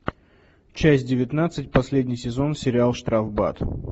часть девятнадцать последний сезон сериал штрафбат